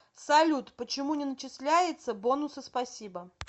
салют почему не начисляется бонусы спасибо